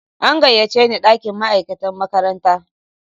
An gayyace ni dakin ma'aikata makaranta.